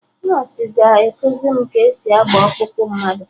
Nọsụ ga-ekuzi m ka esi agba ọkpụkpụ mmadụ